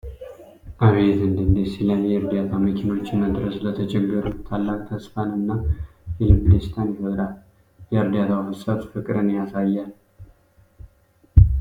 አቤት እንዴት ደስ ይላል ! የእርዳታ መኪኖች መድረስ ለተቸገሩት ታላቅ ተስፋን እና የልብ ደስታን ይፈጥራል። የእርዳታው ፍሰት ፍቅርን ያሳያል ።